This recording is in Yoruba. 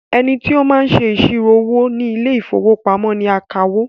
Ẹnití ó máa ń ṣe iṣiro owó ní ile-ìfowópamó ní akawó